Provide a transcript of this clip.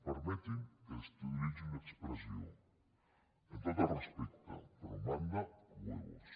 permeti’m que utilitzi una expressió amb tot el respecte però manda huevos